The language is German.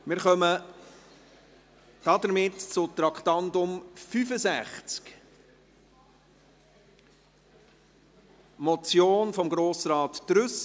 Wir kommen somit zu Traktandum 65, einer Motion von Grossrat Trüssel: